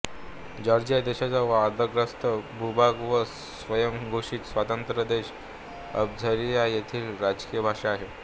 Georgia देशाचा वादग्रस्त भूभाग व स्वयंघोषित स्वतंत्र देश अबखाझिया येथील ही राजकीय भाषा आहे